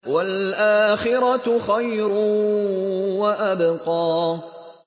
وَالْآخِرَةُ خَيْرٌ وَأَبْقَىٰ